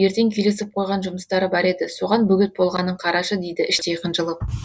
ертең келісіп қойған жұмыстары бар еді соған бөгет болғанын қарашы дейді іштей қынжылып